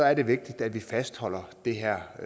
er det vigtigt at vi fastholder det her